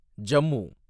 Jammu